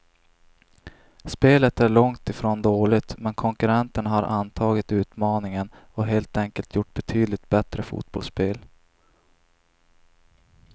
Spelet är långt ifrån dåligt, men konkurrenterna har antagit utmaningen och helt enkelt gjort betydligt bättre fotbollsspel.